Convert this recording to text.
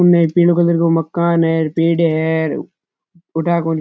सामने एक पिले कलर रो मकान है पेडिया है ठा कोनी --